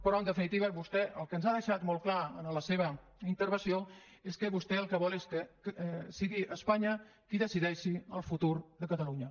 però en definitiva vostè el que ens ha deixat molt en la seva intervenció és que vostè el que vol és que sigui espanya qui decideixi el futur de catalunya